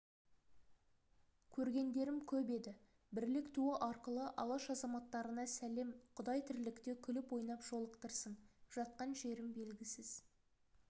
көргендерім көп еді бірлік туы арқылы алаш азаматтарына сәлем құдай тірлікте күліп-ойнап жолықтырсын жатқан жерім белгісіз